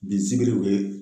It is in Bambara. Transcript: Bi zikiriw ye